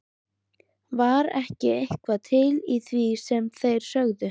Var ekki eitthvað til í því sem þeir sögðu?